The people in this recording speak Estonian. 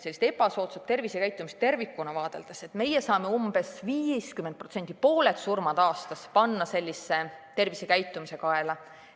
Ebasoodsat tervisekäitumist tervikuna vaadeldes, saame umbes 50% surmadest, pooled surmad aastas lükata tervisekäitumise kaela.